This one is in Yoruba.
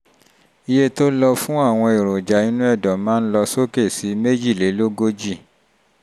iye tó yẹ fún àwọn èròjà inú ẹ̀dọ̀ máa ń lọ sókè sí mejilelogoji